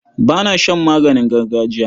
Ba na shan maganin gargajiya.